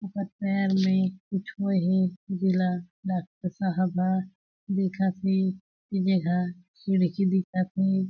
ओकर पैर में कुछ होय हे जेला डॉक्टर साहब ह देखत हे जेहा खिड़की दिखत हे।